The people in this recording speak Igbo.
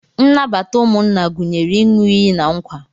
Nnabata ụmụnna gụnyere ịn̄ụ iyi na nkwa.